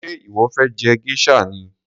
Ṣé ìwọ fé je geisha ni?